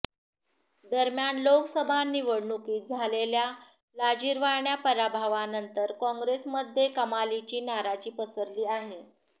दरम्यान लोकसभा निवडणुकीत झालेल्या लाजिरवाण्या पराभवानंतर कॉंग्रेसमध्ये कमालीची नाराजी पसरली आहे